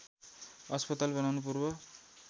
अस्पताल बनाउनु पूर्व